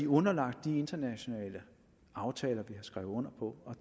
underlagt de internationale aftaler vi har skrevet under på